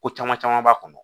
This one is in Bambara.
Ko caman caman b'a kɔnɔ